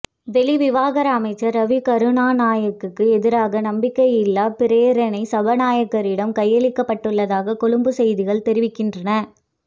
வெளிவிவகார அமைச்சர் ரவி கருணாநாயக்கவுக்கு எதிரான நம்பிக்கையில்லா பிரேரணை சபாநாயகரிடம் கையளிக்கப்பட்டுள்ளதாக கொழும்புச் செய்திகள் தெரிவிக்கின்றன